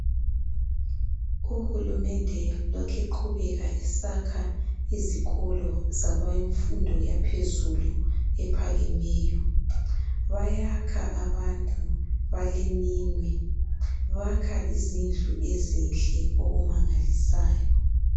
Uhulumende lokhe eqhubeka esakha izikolo zemfundo yaphezulu ephakemeyo bayakha abantu baleminwe bakha izindlu ezinhle okumangalisayo.